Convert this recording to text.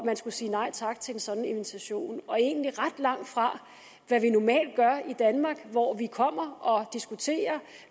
man skulle sige nej tak til sådan en invitation og egentlig ret langt fra hvad vi normalt gør i danmark hvor vi kommer og diskuterer